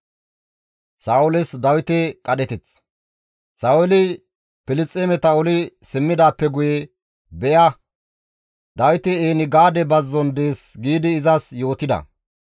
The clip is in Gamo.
Sa7ooli Filisxeemeta oli simmidaappe guye, «Be7a Dawiti En-Gaade bazzon dees» giidi izas yootida.